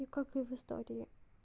и как и в истории